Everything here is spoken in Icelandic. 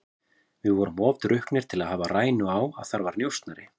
Við vorum of drukknir til að hafa rænu á að þar var njósnari.